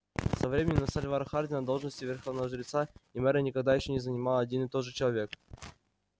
со времён сальвора хардина должности верховного жреца и мэра никогда ещё не занимал один и тот же человек